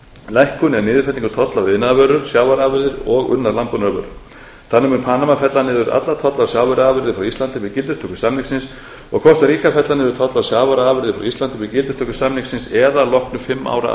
lækkun eða niðurfellingu tolla af iðnaðarvörur sjávarafurðir og unnar landbúnaðarvörur þannig mun panama fella niður alla tolla af sjávarafurðum frá íslandi við gildistöku samningsins og kostaríka fella niður tolla af sjávarafurðum frá íslandi við gildistöku samningsins eða að loknu fimm ára